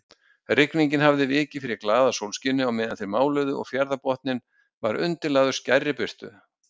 Rigningin hafði vikið fyrir glaðasólskini á meðan þeir máluðu og fjarðarbotninn var undirlagður skærri birtu.